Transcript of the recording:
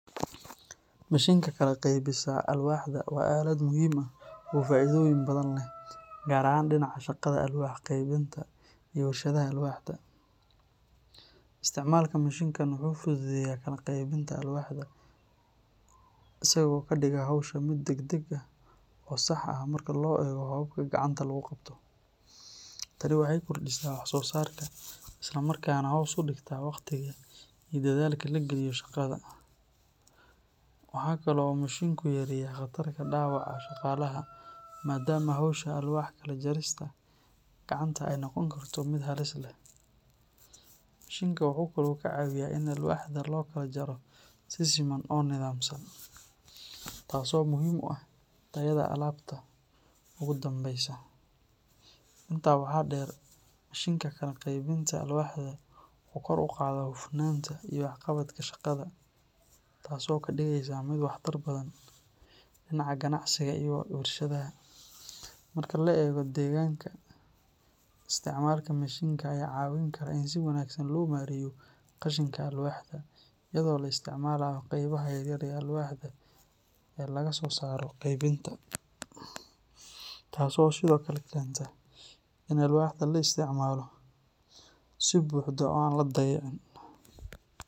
Mishiinka kala qaybisa alwaaxda waa aalad muhiim ah oo faa’iidooyin badan leh, gaar ahaan dhinaca shaqada alwaax-qeybinta iyo warshadaha alwaaxda. Isticmaalka mishiinkan wuxuu fududeeyaa kala qaybinta alwaaxda, isagoo ka dhiga hawsha mid degdeg ah oo sax ah marka loo eego hababka gacanta lagu qabto. Tani waxay kordhisaa wax soo saarka isla markaana hoos u dhigtaa waqtiga iyo dadaalka la geliyo shaqada. Waxa kale oo uu mishiinku yareeyaa khatarta dhaawaca shaqaalaha maadaama hawsha alwaax kala jarista gacanta ay noqon karto mid halis leh. Mishiinka wuxuu kaloo ka caawiyaa in alwaaxda loo kala jaro si siman oo nidaamsan, taasoo muhiim u ah tayada alaabta ugu dambeysa. Intaa waxaa dheer, mishiinka kala qaybinta alwaaxda wuxuu kor u qaadaa hufnaanta iyo waxqabadka shaqada, taasoo ka dhigaysa mid waxtar badan dhinaca ganacsiga iyo warshadaha. Marka la eego deegaanka, isticmaalka mishiinka ayaa ka caawin kara in si wanaagsan loo maareeyo qashinka alwaaxda, iyadoo la isticmaalayo qaybaha yaryar ee alwaaxda ee laga soo saaro kala qaybinta, taasoo sidoo kale keenta in alwaaxda la isticmaalo si buuxda oo aan la dayacin.